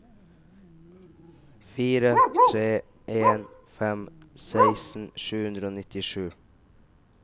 fire tre en fem seksten sju hundre og nittisju